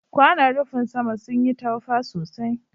kwanon rufin sama sun yi taufa sosai.